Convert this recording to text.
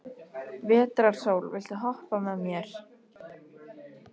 Vetrarsól, viltu hoppa með mér?